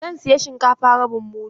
Zan saya shinkafa rabin mudu.